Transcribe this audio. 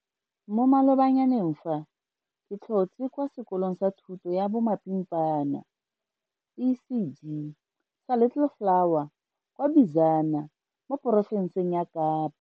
Mo malobanyaneng fa ke tlhotse kwa sekolong sa thuto ya bomapimpana ECD sa Little Flower kwa Bizana mo porofenseng ya Kapa.